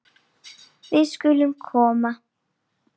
Við skulum koma